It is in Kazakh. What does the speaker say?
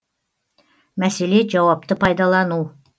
мәселе жауапты пайдалану